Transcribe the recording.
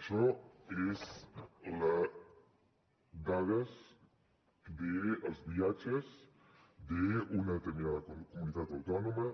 això són dades dels viatges d’una determinada comunitat autònoma